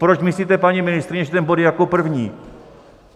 Proč myslíte, paní ministryně, že ten bod je jako první?